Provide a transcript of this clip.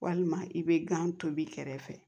Walima i bɛ gan tobi kɛrɛfɛ